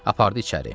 Apardı içəri.